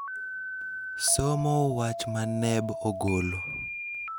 somo wach ma NEB ogolo.